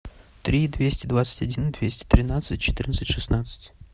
три двести двадцать один двести тринадцать четырнадцать шестнадцать